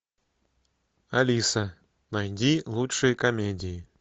алиса найди лучшие комедии